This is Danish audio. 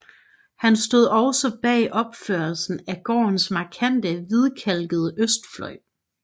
Han stod også bag opførelsen af gårdens markante hvidkalkede østfløj